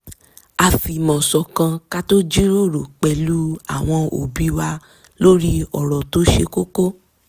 a fì̀mọ̀ ṣọ̀kan ka tó jíròrò pẹ̀lú àwọn òbí wa lórí ọ̀rọ̀ tó ṣe koko